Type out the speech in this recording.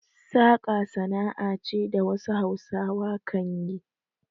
Saƙa sana'a ce da wasu Hausawa kan yi.